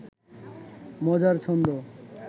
মজার ছন্দ